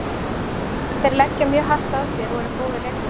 Þeir leggja mjög hart að sér og eru góðir leikmenn.